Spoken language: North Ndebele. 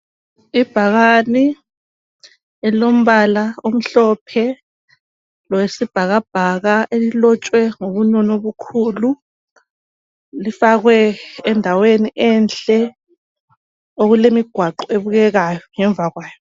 Ibhakane elombala omhlophe lowesibhakabhaka elilotshwe ngobunono obukhulu lifakwe endaweni enhle okulemigwaqo ebukekayo ngemva kwayo.